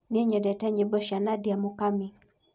Nĩe nĩnyendete nyĩmbo cĩa Nadia mũkamĩ